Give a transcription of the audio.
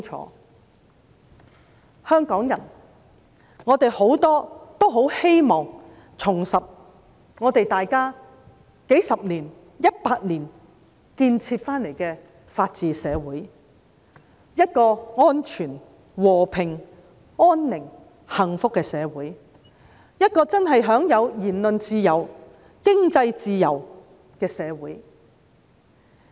很多香港人希望重拾數十年、一百年所建設得來的法治社會，香港是一個安全、和平、安寧、幸福的社會，一個真正享有言論自由、經濟自由的社會。